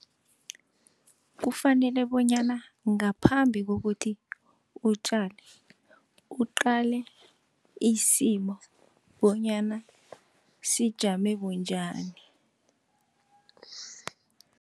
Kufanele bonyana ngaphambi kokuthi utjale, uqale isimo bonyana sijame bunjani.